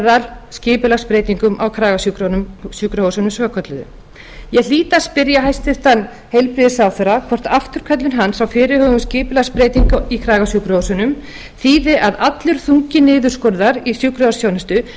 þar á meðal skipulagsbreytingum á kragasjúkrahúsunum svokölluðu ég hlýt að spyrja hæstvirtan heilbrigðisráðherra hvort afturköllun hans á fyrirhuguðum skipulagsbreytingum á kragasjúkrahúsunum þýði að allur þungi niðurskurðar í sjúkrahúsþjónustu eigi að lenda